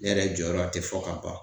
Ne yɛrɛ jɔyɔrɔ te fɔ ka ban.